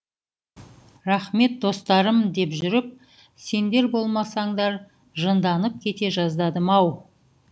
рақмет достарым деді жүріп сендер болмасаңдар жынданып кете жаздадым ау